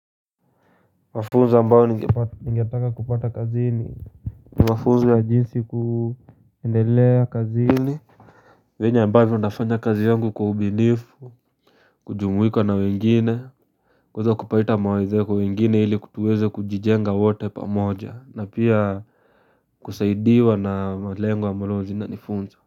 Mafunzo ambayo ningetaka kupata kazini ni mafunzo ya jinsi kuendelea kazini venye ambavyo nafanya kazi yangu kwa ubinifu kujumuika na wengine kuweza kupata mawazo kwa wengine hili kutuweze kujijenga wato pamoja na pia kusaidiwa na malengo ambalo zinanifunza.